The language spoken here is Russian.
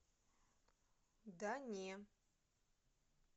да не